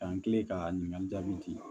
K'an kilen ka ɲininkali jaabi